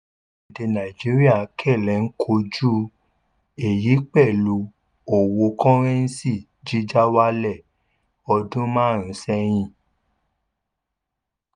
orílẹ̀ èdè nàìjíríà kẹlẹ̀ ń kojú èyí pẹ̀lú owó kọ́rẹ́ńsì jíjà wálẹ̀ odún márùn-ún sẹ́yìn.